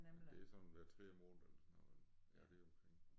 Ja det er sådan hver tredje måned eller sådan noget vel ja deromkring